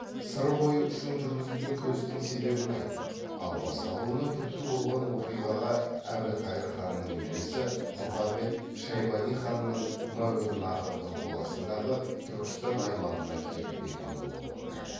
сыр бойы үшін жүргізілген күрестің себебін айттық ал басталуына түрткі болған оқиғаға әбілқайыр ханның немересі мұхамед шайбани ханның мәуереннахрдың қол астындағы түркістан аймағына келіп бекінуі болды